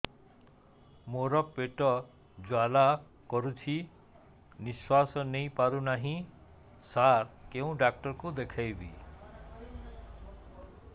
ମୋର ପେଟ ଜ୍ୱାଳା କରୁଛି ନିଶ୍ୱାସ ନେଇ ପାରୁନାହିଁ ସାର କେଉଁ ଡକ୍ଟର କୁ ଦେଖାଇବି